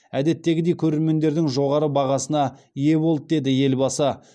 әдеттегідей көрермендердің жоғары бағасына ие болды деді елбасы